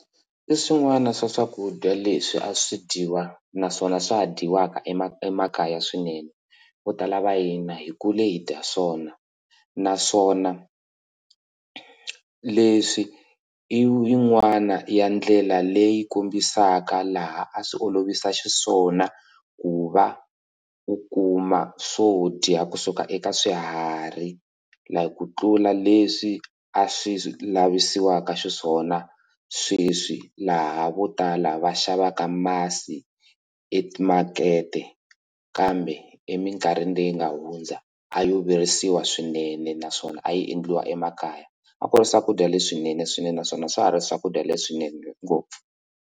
I swin'wana swa swakudya leswi a swi dyiwa naswona swa ha dyiwaka emakaya swinene vo tala va hina hi kule hi dya swona naswona leswi i yin'wana ya ndlela leyi kombisaka laha a swi olovisa xiswona ku va u kuma swo dya kusuka eka swiharhi like ku tlula leswi a swi lavisiwaka xiswona sweswi laha vo tala va xavaka masi emakete kambe emikarhini leyi nga hundza a yo virisiwa swinene naswona a yi endliwa emakaya a ku ri swakudya leswinene swinene naswona swa ha ri swakudya leswinene ngopfu.